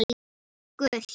Og gult?